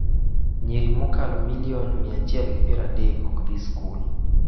Nyiri mokalo milion 130 ok dhi skul